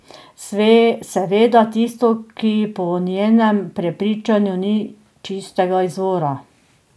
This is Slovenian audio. Seveda tisto, ki po njenem prepričanju ni čistega izvora.